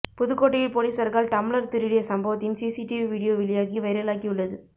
புதுக்கோட்டையில் பொலிசார்கள் டம்பளர் திருடிய சம்பவத்தின் சிசிடிவி வீடியோ வெளியாகி வைரலாகியுள்ளது